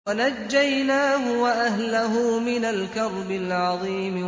وَنَجَّيْنَاهُ وَأَهْلَهُ مِنَ الْكَرْبِ الْعَظِيمِ